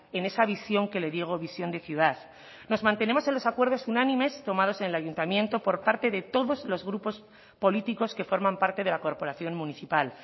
en esa visión que le digo visión de ciudad nos mantenemos en los acuerdos unánimes tomados en el ayuntamiento por parte de todos los grupos políticos que forman parte de la corporación municipal